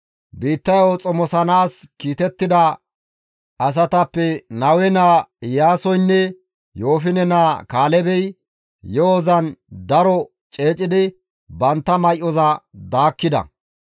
Biittayo xomosanaas kiitettida asatappe Nawe naa Iyaasoynne Yoofine naa Kaalebey yo7ozan daro ceecidi bantta may7oza daakkida.